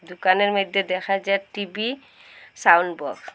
দোকানের মধ্যে দেখা যাক টি_ভি সাউন্ড বক্স ।